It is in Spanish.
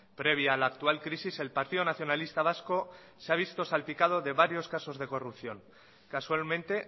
previa a la actual crisis el partido nacionalista vasco se ha visto salpicado de varios casos de corrupción casualmente